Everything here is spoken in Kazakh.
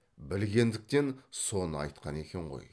білгендіктен соны айтқан екен ғой